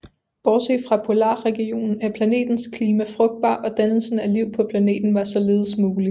Bortset fra polar regionen er planetens klima frugtbar og dannelsen af liv på planeten var således mulig